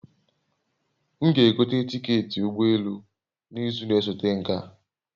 M g'egote tiketị ụgbọ elu m n'izu na-esote nke a